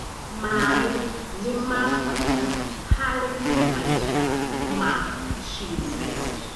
Maĩ nĩ ma bata harĩ maica ma ciũmbe.